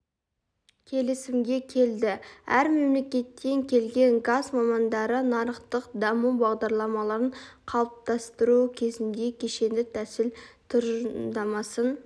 келісімге келді әр мемлекеттен келген газ мамандары нарықтық даму бағдарламаларын қалыптастыру кезінде кешенді тәсіл тұжырымдамасын